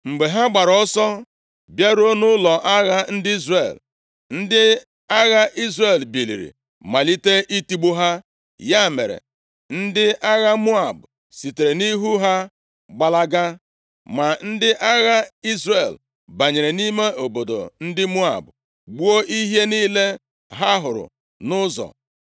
Mgbe ha gbaara ọsọ bịaruo nʼụlọ agha ndị Izrel, ndị agha Izrel biliri malite itigbu ha. Ya mere, ndị agha Moab sitere nʼihu ha gbalaga. Ma ndị agha Izrel banyere nʼime obodo ndị Moab, gbuo ihe niile ha hụrụ nʼụzọ.